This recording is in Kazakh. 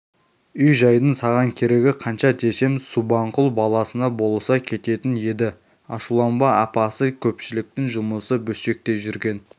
үй-жайдың саған керегі қанша десем субанқұл баласына болыса кететін еді ашуланба апасы көпшіліктің жұмысы бөстекей жүрген